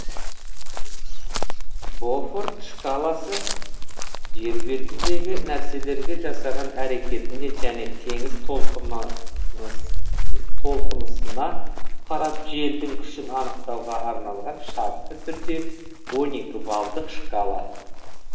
бофорт шкаласы жер бетіндегі нәрселерге жасаған әрекетіне және теңіз толқынысына қарап желдің күшін анықтауға арналған шартты түрде он екі балдық шкала